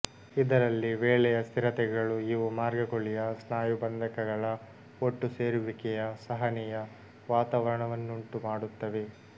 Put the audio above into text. ಇದರಲ್ಲಿ ವೇಳೆಯ ಸ್ಥಿರತೆಗಳು ಇವು ಮಾರ್ಗ ಕುಳಿಯ ಸ್ನಾಯುಬಂಧಕಗಳ ಒಟ್ಟುಸೇರುವಿಕೆಯ ಸಹನೀಯ ವಾತಾವರಣವನ್ನುಂಟು ಮಾಡುತ್ತವೆ